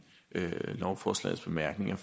lovforslagets bemærkninger